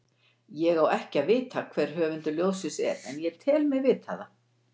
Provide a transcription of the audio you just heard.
Ég á ekki að vita hver höfundur ljóðsins er, en ég tel mig vita það.